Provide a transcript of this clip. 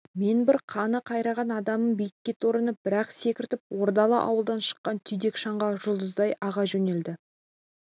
мен бір қаны қарайған адаммын биік торыны бір-ақ секіртіп ордалы ауылдан шыққан түйдек шаңға жұлдыздай аға жөнелді